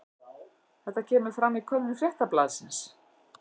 Þetta kemur fram í könnun Fréttablaðsins